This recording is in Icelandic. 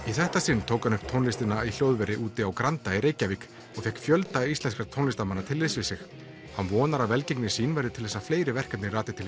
þetta sinn tók hann upp tónlistina í hljóðveri úti á Granda í Reykjavík og fékk fjölda íslenskra tónlistarmanna til liðs við sig hann vonar að velgengni sín verði til þess að fleiri verkefni rati til